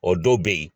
O dɔw be yen